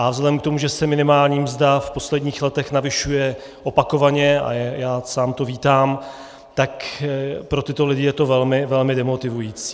A vzhledem k tomu, že se minimální mzda v posledních letech navyšuje opakovaně, a já sám to vítám, tak pro tyto lidi je to velmi demotivující.